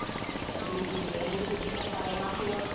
Audio not clear